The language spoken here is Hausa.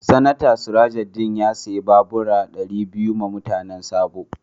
Seneta Surajudeen ya siya babura dari biyu ma mutanen Sabo.